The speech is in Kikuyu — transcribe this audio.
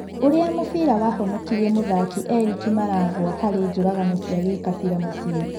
ũrĩa mũbira wahonokirie mũthaki Erĩki Maragwa harĩ njũragano cia Gikabira Mũcĩĩ.